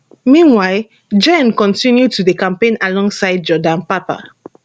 meanwhile jenn kontinu to dey campaign alongside jordan papa